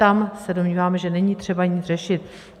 Tam se domníváme, že není třeba nic řešit.